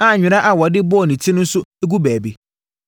a nwera a wɔde bɔɔ ne ti no nso gu baabi.